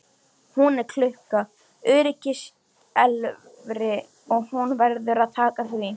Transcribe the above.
Hún er klukka, öryggisskelfir og hann verður að taka því.